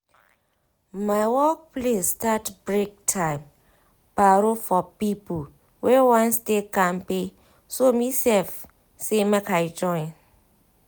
my workplace start breaktime paro for people wey wan stay kampe so me sef say make i join